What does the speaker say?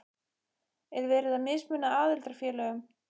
Er verið að mismuna aðildarfélögum?